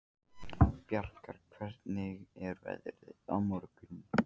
Bjargar, hvernig er veðrið á morgun?